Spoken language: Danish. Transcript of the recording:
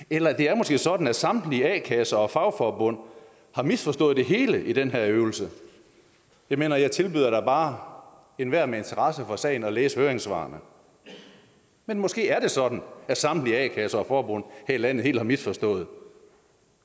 eller det er måske sådan at samtlige a kasser og fagforbund har misforstået det hele i den her øvelse jeg mener jeg tilbyder da bare enhver med interesse for sagen at læse høringssvarene men måske er det sådan at samtlige a kasser og forbund her i landet helt har misforstået